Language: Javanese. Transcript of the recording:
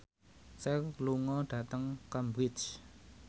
Cher lunga dhateng Cambridge